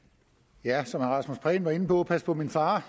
som herre rasmus prehn var inde på pas på min far